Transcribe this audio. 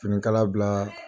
Finikala bila